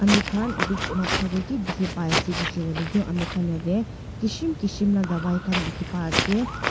khan edu noksa de ki dikhi pai ase koishe koile tu ami khan yede kishim kishim la dawai khan dikhi pai ase.